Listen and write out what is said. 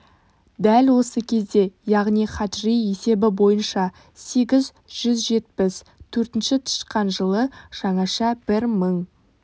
дәл осы кезде яғни хаджри есебі бойынша сегіз жүз жетпіс төртінші тышқан жылы жаңаша бір мың